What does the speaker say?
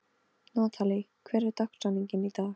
Natalí, hver er dagsetningin í dag?